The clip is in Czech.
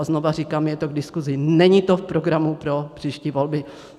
A znova říkám, je to k diskusi, není to v programu pro příští volby.